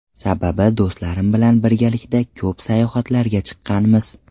Sababi do‘stlarim bilan birgalikda ko‘p sayohatlarga chiqqanmiz.